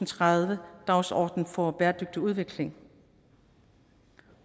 tredive dagsorden for bæredygtig udvikling